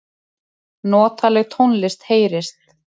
Notaleg tónlist heyrist.